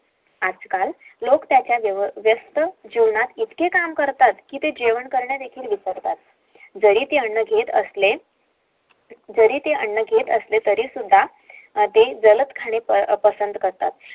आजकाल त्यांच्या जीवनात इतक काम करतात की ते जेवण करणे देखिल विसरतात